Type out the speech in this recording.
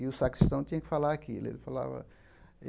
E o sacristão tinha que falar aquilo. Ele falava